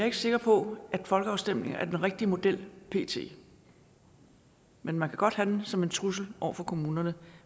ikke sikker på at folkeafstemninger er den rigtige model pt men man kan godt have dem som en trussel over for kommunerne